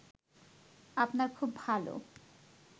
আপনার খুব ভালো